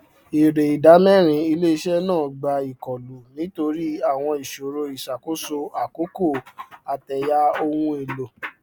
èrè idámẹrin iléiṣẹ náà gba ìkólu nítorí àwọn ìṣòro ìṣàkóso àkókò àtẹyà ohun elo